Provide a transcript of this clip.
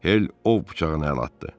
Hel ov bıçağına əl atdı.